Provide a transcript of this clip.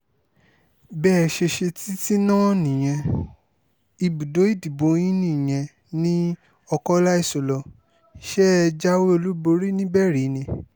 bẹ́ ẹ ṣe ṣe títí náà nìyẹn ibùdó ìdìbò yín nìyẹn ní ọkọ́láìsolọ ṣe é jáwé olúborí níbẹ̀ rí ni